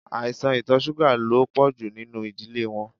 Aisan itọ ṣuga lo pọju ninu idile wọn